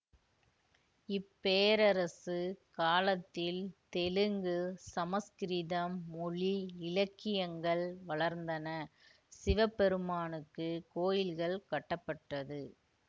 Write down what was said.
இப்பேரரசு காலத்தில் தெலுங்கு சமசுகிருதம் மொழி இலக்கியங்கள் வளர்ந்தன சிவபெருமானுக்கு கோயில்கள் கட்டப்பட்டது